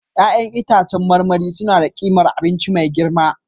Ya'yan itãcen marmari suna da ƙimar abinci mai girma